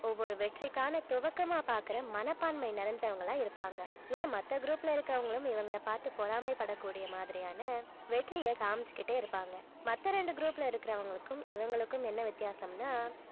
ஒவ்வொரு வெற்றிக்கான துவக்கமா பாக்குற மனப்பான்மை நிறைஞ்சவங்களா இருப்பாங்க ஏன் மத்த group ல இருக்கிறவங்களும் இவங்கள பார்த்து பொறாமைபடக்கூடிய மாதிரியான வெற்றியை காமிச்சுக்கிட்டே இருப்பாங்க மத்த ரெண்டு group ல இருக்கிறவங்களுக்கும் இவங்களுக்கும் என்ன வித்தியாசம்னா